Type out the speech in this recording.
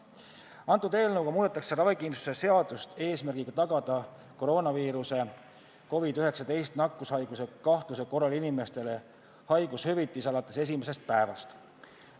Eelnõuga muudetakse ravikindlustuse seadust eesmärgiga tagada koroonaviiruse ja COVID-19 nakkushaiguse kahtluse korral inimestele haigushüvitis alates esimesest päevast.